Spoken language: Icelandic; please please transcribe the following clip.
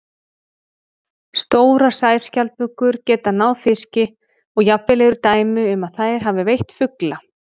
Stórar sæskjaldbökur geta náð fiski og jafnvel eru dæmi um að þær hafi veitt fugla.